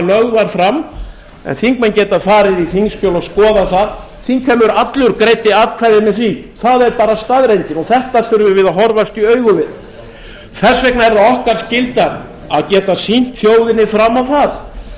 lögð var fram en þingmenn geta farið í þingskjöl og skoðað það þingheimur allur greiddi atkvæði með því það er bara staðreyndin þetta þurfum við að horfast í augu við þess vegna er það okkar skylda að geta sýnt þjóðinni fram á